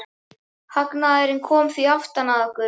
Hagnaðurinn kom því aftan að okkur.